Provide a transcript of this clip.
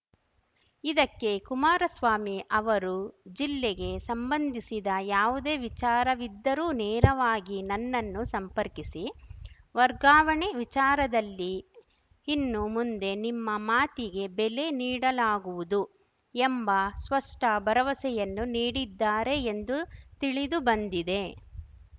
ಇದಕ್ಕೆ ಕುಮಾರಸ್ವಾಮಿ ಅವರು ಜಿಲ್ಲೆಗೆ ಸಂಬಂಧಿಸಿದ ಯಾವುದೇ ವಿಚಾರವಿದ್ದರೂ ನೇರವಾಗಿ ನನ್ನನ್ನು ಸಂಪರ್ಕಿಸಿ ವರ್ಗಾವಣೆ ವಿಚಾರದಲ್ಲಿ ಇನ್ನು ಮುಂದೆ ನಿಮ್ಮ ಮಾತಿಗೆ ಬೆಲೆ ನೀಡಲಾಗುವುದು ಎಂಬ ಸ್ಪಷ್ಟಭರವಸೆಯನ್ನು ನೀಡಿದ್ದಾರೆ ಎಂದು ತಿಳಿದು ಬಂದಿದೆ